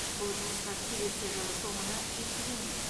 бұл жұмыстар келесі жылы соңына жеткізілмек